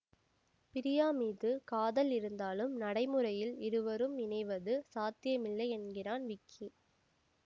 பிரியா மீது காதல் இருந்தாலும் நடைமுறையில் இருவரும் இணைவது சாத்தியமில்லை என்கிறான் விக்கி